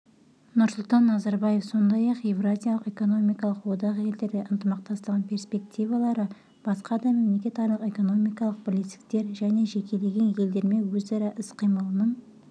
нұрсұлтан назарбаев сондай-ақ еуразиялық экономикалық одақ елдері ынтымақтастығының перспективалары басқа да мемлекетаралық экономикалық бірлестіктер және жекелеген елдермен өзара іс-қимылының